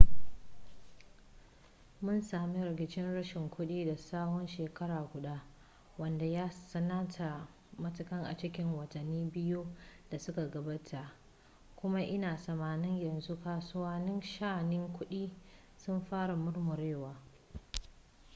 mun sami rigicin rashin kuɗi na tsawon shekara guda wanda ya tsananta matuka a cikin watanni biyu da suka gabata kuma ina tsammanin yanzu kasuwannin sha'anin kuɗi sun fara murmurewa